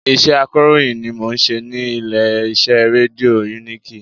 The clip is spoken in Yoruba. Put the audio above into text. Iṣẹ́ akọ̀ròyìn ni mo n ṣe ní ilé iṣẹ́ rédíò uniki